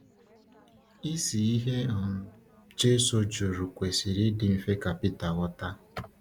Isi ihe um Jésù jụrụ kwesịrị ịdị mfe ka Pita ghọta.